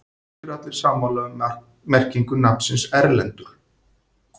Ekki eru allir sammála um merkingu nafnsins Erlendur.